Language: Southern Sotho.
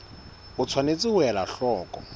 o tshwanetse ho ela hloko